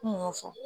Kun y'o fɔ